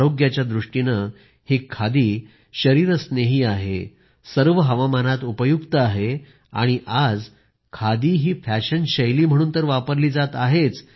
आरोग्याच्या दृष्टीनं ही खादी शरीरस्नेही आहे सर्व हवामानातही उपयुक्त आहे आणि आज खादी ही फॅशन शैली म्हणून तर वापरली जात आहेच